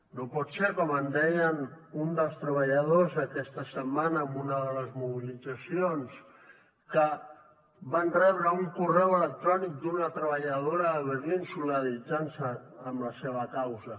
no pot ser com em deia un dels treballadors aquesta setmana en una de les mobilitzacions que van rebre un correu electrònic d’una treballadora de berlín solidaritzar se amb la seva causa